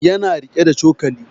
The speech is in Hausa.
Ya na riƙe da cokali